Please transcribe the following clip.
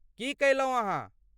की कयलहुँ अहाँ?